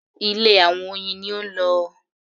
Ilé àwọn oyin ni ó ń lọ.